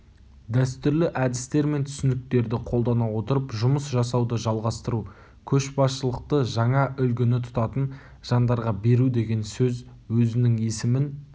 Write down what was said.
дәстүрлі әдістер мен түсініктерді қолдана отырып жұмыс жасауды жалғастыру көшбасшылықты жаңа үлгіні тұтатын жандарға беру деген сөз өзінің есімін